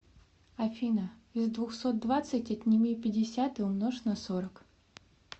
афина из двухсот двадцать отними пятьдесят и умножь на сорок